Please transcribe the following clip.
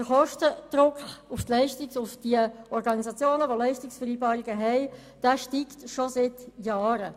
Der Kostendruck auf die Organisationen, die Leistungsvereinbarungen haben, steigt schon seit Jahren.